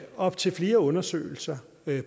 op til flere undersøgelser